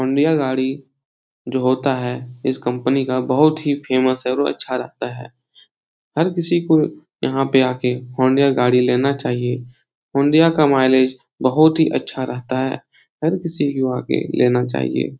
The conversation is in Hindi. हुंडई जो होता है। इस कंपनी का बहुत ही फेमस और अच्छा रहता है। हर किसी को यहाँ पे आके हुंडई गाड़ी लेना चाइये हुंडई का मयलेज़ बहुत ही अच्छा रहता है। हर किसी को यह लना चाइये |